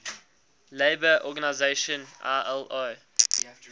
labour organization ilo